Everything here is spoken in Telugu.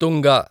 తుంగ